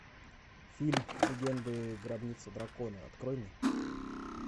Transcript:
фильм легенды гробницы дракона открой мне